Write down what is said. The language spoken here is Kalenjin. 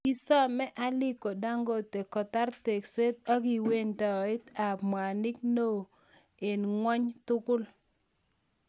Kisome Aliko Dangote kotar tekseet apkiwandeet ap mwanik neo eng ng'ony tugul.